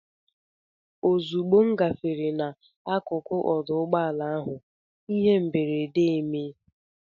Ozugbo m gafere n'akụkụ ọdụ ụgbọala ahụ, ihe mberede emee.